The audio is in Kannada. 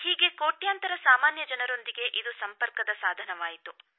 ಹೀಗೆ ಕೋಟ್ಯಾಂತರ ಸಾಮಾನ್ಯ ಜನರೊಂದಿಗೆ ಇದು ಸಂಪರ್ಕದ ಸಾಧನವಾಯಿತು